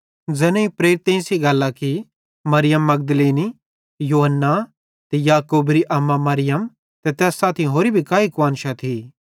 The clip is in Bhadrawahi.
ज़ैनेईं प्रेरितन सेइं गल्लां की मरियम मगदलीनी योअन्ना ते याकूबेरी अम्मा मरियम ते तैस सेइं साथी होरि भी काई कुआन्शां थी